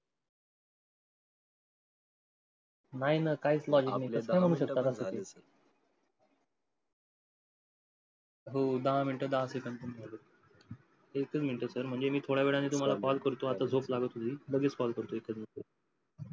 नाही ना काहीच logic नाही त्याच्यात. हो दहा मिनटं दहा सेकंड पण झालेत. एक च मिनिट sir म्हणजे मी थोड्यावेळात तुम्हाला call करतो आता झोप लागली थोडी लगेच call करतो.